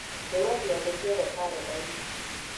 hura ciathĩ ciothe karenda-inĩ